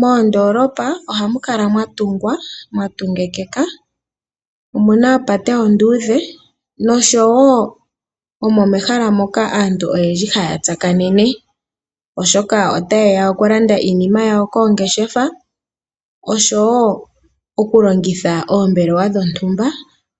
Moondoolopa ohamu kala mwa tungwa ,mwa tungikika. Omuna opate onduudhe noshowo omo mehala moka aantu oyendji haya tsakanene, oshoka otaye ya okulanda iinima yawo koongeshefa, oshowo okulongitha oombelewa dhontumba